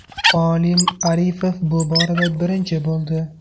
Olim Arifov bu borada birinchi bo‘ldi.